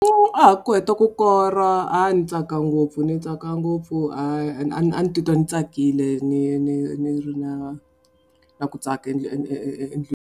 a ha ku heta ku kora a ni tsaka ngopfu ni tsaka ngopfu a ni titwa ni tsakile ni ni ni ri na na ku tsaka .